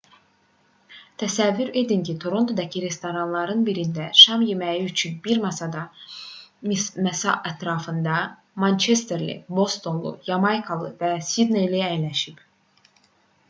təsəvvür edin ki torontodakı restoranların birində şam yeməyi üçün bir masa ətrafında mançesterli bostonlu yamaykalı və sidneyli əyləşib